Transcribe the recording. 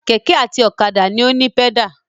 Kẹ̀kẹ́ àti ọ̀kadà ni ó ní pẹ́dà.